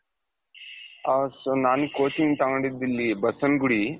ಹ so ನಾನು coaching ತಗೊಂಡಿದಿಲ್ಲಿ ಬಸವನಗುಡಿ